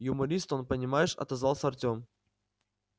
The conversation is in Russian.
юморист он понимаешь отозвался артём